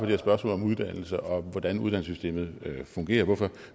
der spørgsmål om uddannelse og om hvordan uddannelsessystemet fungerer og hvorfor